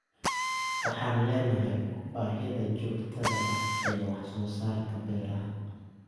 Waxaan leenahay baahida joogtada ah ee wax soo saarka beeraha.